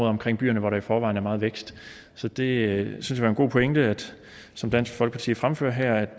omkring byerne hvor der i forvejen er meget vækst så det synes vi er en god pointe som dansk folkeparti fremfører her